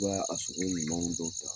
U b'a a sogo ɲumanw dɔw ta